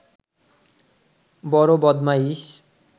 বড় বদমাইশ